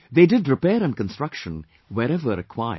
They did repair and construction wherever required